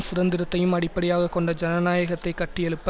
சுதந்திரத்தையும் அடிப்படையாக கொண்ட ஜனநாயகத்தை கட்டியெழுப்ப